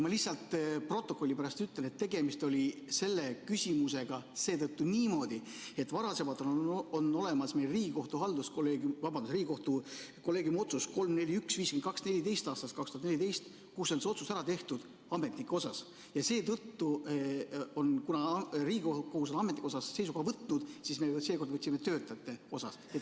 Ma lihtsalt protokolli pärast ütlen, et selle küsimusega oli seetõttu niimoodi, et on olemas Riigikohtu kolleegiumi otsus 3-4-1-52-14 aastast 2014, kus on see otsus ära tehtud ametnike kohta ja seetõttu, kuna Riigikohus on ametnike suhtes seisukoha võtnud, me seekord võtsime töötajate suhtes.